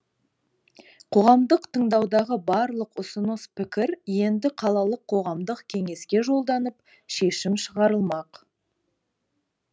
қоғамдық тыңдаудағы барлық ұсыныс пікір енді қалалық қоғамдық кеңеске жолданып шешім шығарылмақ